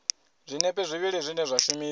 zwinepe zwivhili zwine zwa shumiswa